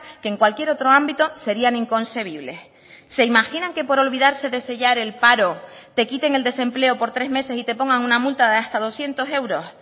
que en cualquier otro ámbito serían inconcebibles se imaginan que por olvidarse de sellar el paro te quiten el desempleo por tres meses y te pongan una multa de hasta doscientos euros